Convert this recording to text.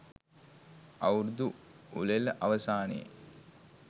අවුරුදු උළෙල අවසානයේ